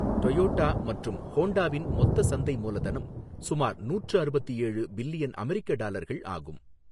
Toyota மற்றும் ஹோண்டாவின் மொத்த சந்தை மூலதனம் சுமார் நூற்று அறுபத்து ஏழு பில்லியன் அமெரிக்க டாலர்கள் ஆகும்.